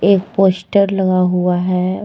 एक पोस्टर लगा हुआ है।